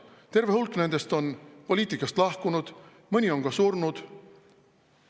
Terve hulk nendest on poliitikast lahkunud, mõni on ka surnud.